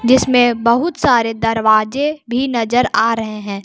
जिसमें बहुत सारे दरवाजे भी नजर आ रहे हैं।